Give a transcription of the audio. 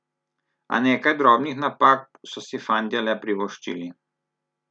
A nekaj drobnih napak so si fantje le privoščili.